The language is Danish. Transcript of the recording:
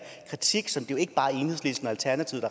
kritik som det jo ikke bare er enhedslisten og alternativet